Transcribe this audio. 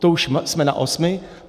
To už jsme na osmi.